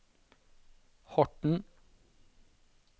Horten